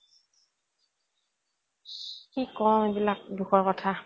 কি কও এই বিলাক দুখৰ কথা